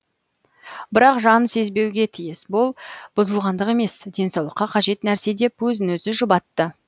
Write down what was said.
бірақ жан сезбеуге тиіс бүл бұзылғандық емес денсаулыққа қажет нәрсе деп өзін өзі жұбатты